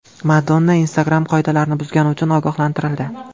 Madonna Instagram qoidalarini buzgani uchun ogohlantirildi.